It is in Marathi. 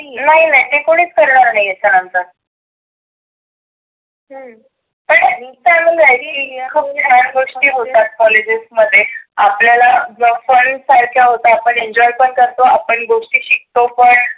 नाही नाही हे कोणीच करणार नाहिए हेच्या नंतर हम्म करुन राहीली खुप गोष्टी होतात कॉलेज मध्ये. आपल्याला job आहोत आपण enjoy पण करतो, आपण गोष्टी शिकतो पण.